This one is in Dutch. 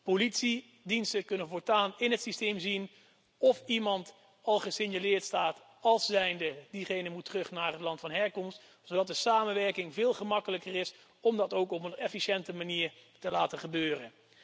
Politiediensten kunnen voortaan in het systeem zien of iemand al gesignaleerd staat als persoon die terug moet naar het land van herkomst, zodat de samenwerking veel gemakkelijker is om dat ook op een efficiënte manier te laten gebeuren.